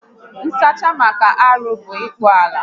Ịkpụ alụ